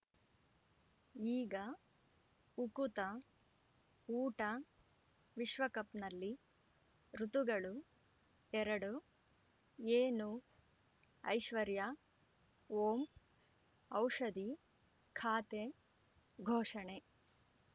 ಈಗ ಉಕುತ ಊಟ ವಿಶ್ವಕಪ್‌ನಲ್ಲಿ ಋತುಗಳು ಎರಡು ಏನು ಐಶ್ವರ್ಯಾ ಓಂ ಔಷಧಿ ಖಾತೆ ಘೋಷಣೆ